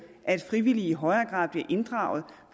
at frivillige i højere grad bliver inddraget